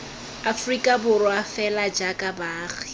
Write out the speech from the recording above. aforika borwa fela jaaka baagi